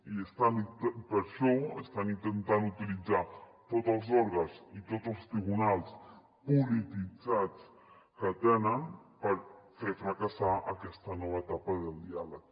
i per això estan intentant utilitzar tots els òrgans i tots els tribunals polititzats que tenen per fer fracassar aquesta nova etapa del diàleg